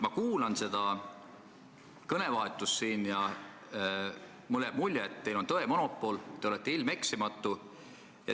Ma kuulan seda sõnavahetust siin ja mulle jääb mulje, et teil on tõe monopol, te olete ilmeksimatu.